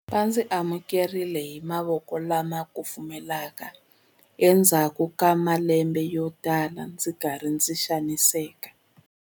Va ndzi amukerile hi mavoko lama kufumelaka endzhaku ka malembe yotala ndzi ri karhi ndzi xaniseka.